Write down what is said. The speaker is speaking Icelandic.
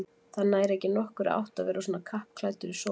Það nær ekki nokkurri átt að vera svona kappklæddur í sólinni